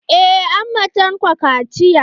Eh an ma Tanko kaciya.